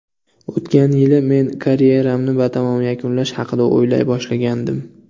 O‘tgan yili men karyeramni batamom yakunlash haqida o‘ylay boshlagandim.